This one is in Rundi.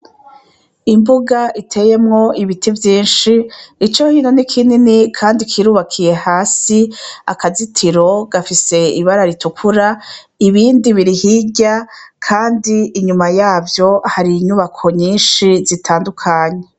Imbuga iteyemwo ibiti vyishi, icohino nikinini kandi kirubakiye hasi. Akazitiro gafise ibara ritukura. Ibindi biri hirya kandi inyuma yavyo har'inyubako nyishi zitandukanye.